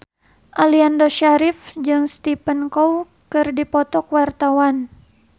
Aliando Syarif jeung Stephen Chow keur dipoto ku wartawan